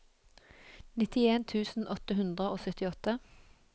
nittien tusen åtte hundre og syttiåtte